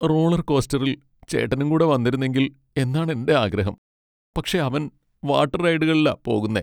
റോളർകോസ്റ്ററിൽ ചേട്ടനും കൂടെ വന്നിരുന്നെങ്കിൽ എന്നാണ് എന്റെ ആഗ്രഹം. പക്ഷേ അവൻ വാട്ടർ റൈഡുകളിലാ പോകുന്നെ.